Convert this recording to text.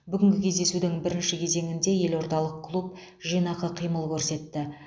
бүгінгі кездесудің бірінші кезеңінде елордалық клуб жинақы қимыл көрсетті